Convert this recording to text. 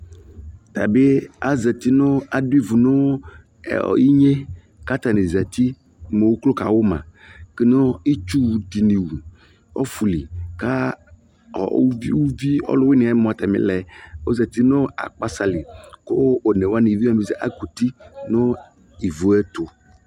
ta bi azati nu adu ivu nu iŋne ku ata ni zati mu uklo ka wu mã nu itchu dini wu nu ɔfu li ku uvi ɔluwiniɛ mua a ta milɛ ɔzati nu akpasa li Ku one wani mua akɔ nu uti nu ivue tu